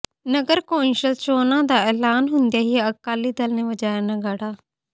ਨਗਰ council ਚੌਣਾਂ ਦਾ ਐਲਾਣ ਹੁੰਦਿਆਂ ਹੀ ਅਕਾਲੀ ਦਲ ਨੇ ਵਜਾਇਆ ਨਗਾੜਾ